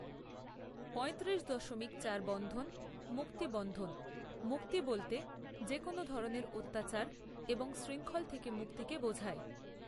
পয়ত্রিশ দশমিক চার বন্ধন, মুক্তি বন্ধন, মুক্তি বলতে যে কোনো ধরনের অত্যাচার বা শৃংখল থেকে মুক্তিকে বোঝায়।